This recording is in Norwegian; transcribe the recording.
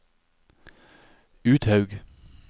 Uthaug